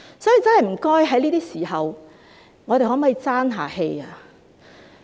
所以，在這些時候，我們可否真正"爭氣"？